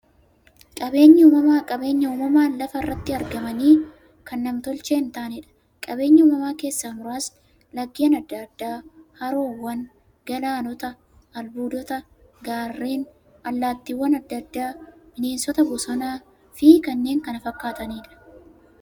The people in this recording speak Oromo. Qaabeenyi uumamaa qabeenya uumamaan lafa irratti argamanii, kan nam-tolchee hintaaneedha. Qabeenya uumamaa keessaa muraasni; laggeen adda addaa, haroowwan, galaanota, albuudota, gaarreen, allattiiwwan adda addaa, bineensota bosonaa, bosonafi kanneen kana fakkataniidha.